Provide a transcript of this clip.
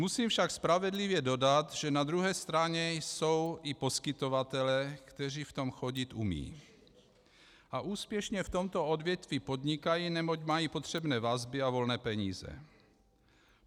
Musím však spravedlivě dodat, že na druhé straně jsou i poskytovatelé, kteří v tom chodit umí a úspěšně v tomto odvětví podnikají, neboť mají potřebné vazby a volné peníze.